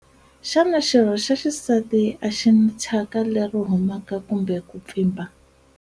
Xana xirho xa xisati a xi na thyaka leri humaka kumbe ku pfimba?